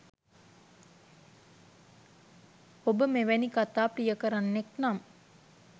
ඔබ මෙවැනි කතා ප්‍රියකරන්නෙක් නම්